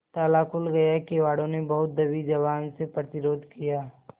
ताला खुल गया किवाड़ो ने बहुत दबी जबान से प्रतिरोध किया